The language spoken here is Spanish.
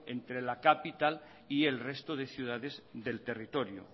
entre la capital y el resto de ciudades del territorio